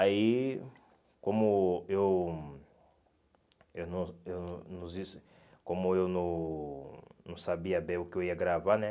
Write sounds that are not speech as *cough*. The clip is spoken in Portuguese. Aí, como eu eu não eu *unintelligible* como eu não não sabia bem o que eu ia gravar, né?